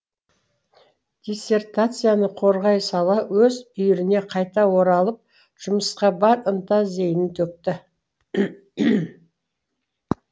диссертацияны қорғай сала өз үйіріне қайта оралып жұмысқа бар ынта зейінін төкті